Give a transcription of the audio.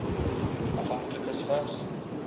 afhanklikes vigs